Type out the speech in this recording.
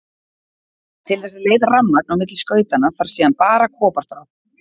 Til þess að leiða rafmagn á milli skautanna þarf síðan bara koparþráð.